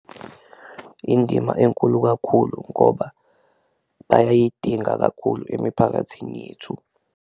Indima enkulu kakhulu ngoba bayayidinga kakhulu emiphakathini yethu.